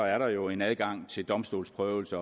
er der jo en adgang til domstolsprøvelse